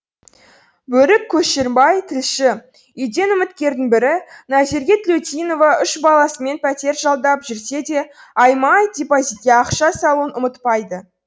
берік көшербай тілші үйден үміткердің бірі назерке тілеудинова үш баласымен пәтер жалдап жүрсе де айма ай депозитке ақша салуын ұмытпайды